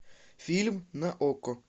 фильм на окко